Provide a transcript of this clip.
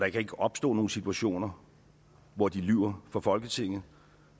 ikke kan opstå nogen situationer hvor de lyver for folketinget